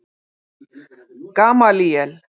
Gamalíel